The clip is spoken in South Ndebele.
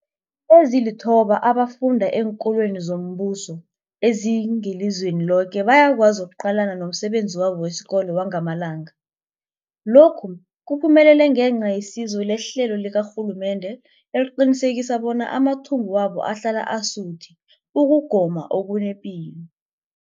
Ezilithoba abafunda eenkolweni zombuso ezingelizweni loke bayakwazi ukuqalana nomsebenzi wabo wesikolo wangamalanga. Lokhu kuphumelele ngenca yesizo lehlelo likarhulumende eliqinisekisa bona amathumbu wabo ahlala asuthi ukugoma okunepilo.